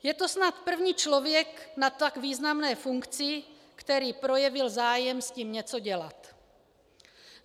Je to snad první člověk na tak významné funkci, který projevil zájem s tím něco dělat.